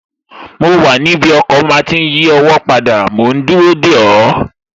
Mo wà níbi ọkọ̀ máa tí n yí ọwọ́ padà mòún dúró dè ọ́